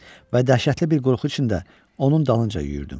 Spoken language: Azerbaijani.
Və dəhşətli bir qorxu içində onun dalınca yüyürdüm.